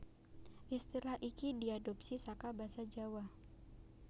Istilah iki diadhopsi saka basa Jawa